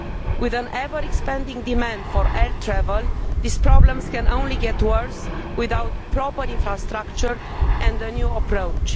With an ever expanding demand for air travel, these problems can only get worse without proper infrastructure and a new approach.